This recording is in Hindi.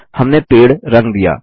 हमने पेड़ रंग दिया160